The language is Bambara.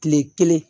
Kile kelen